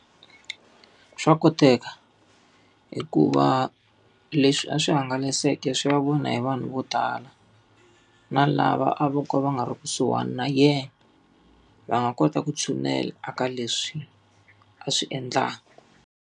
Swa koteka hikuva leswi a swi hangalaseke swi ya vona hi vanhu vo tala. Na lava a vo ka va nga ri kusuhani na yena, va nga kota ku tshinela eka leswi a swi endlaku.